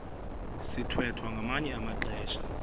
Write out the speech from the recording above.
sithwethwa ngamanye amaxesha